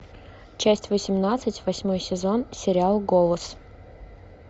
часть восемнадцать восьмой сезон сериал голос